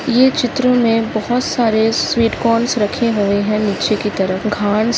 ये चित्र मे बहोत सारे स्वीट कॉर्नस रखे हुए है निचे की तरफ घास --